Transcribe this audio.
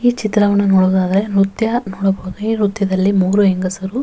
ಈ ಚಿತ್ರವನ್ನ ನೋಡಿದಾಗ ನ್ರತ್ಯ ನೋಡಬಹುದು. ಈ ನ್ರತ್ಯದಲ್ಲಿ ಮೂರೂ ಹೆಂಗಸರು --